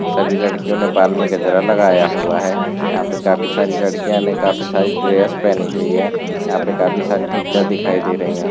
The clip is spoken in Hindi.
सभी लड़कियों ने बाल में गजरा लगाया हुआ है यहां पे काफी सारी लड़कियों ने काफी सारी ड्रेस पहनी हुई है यहां पे काफी सारी टीचर दिखाई दे रही है।